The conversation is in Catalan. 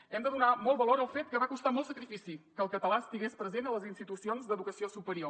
hem de donar molt valor al fet que va costar molt sacrifici que el català estigués present a les institucions d’educació superior